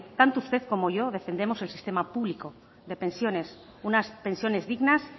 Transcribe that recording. tanto usted como yo defendemos el sistema público de pensiones unas pensiones dignas